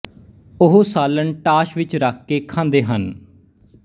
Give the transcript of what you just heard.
ਉਹ ਸਾਲਣ ਟਾਸ਼ ਵਿੱਚ ਰੱਖ ਕੇ ਖਾਂਦੇ ਹਨ